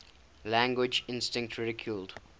language instinct ridiculed